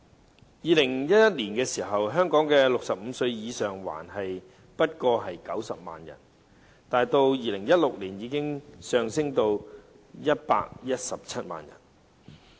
在2011年，香港65歲或以上的人口只有90萬，到2016年已上升至117萬。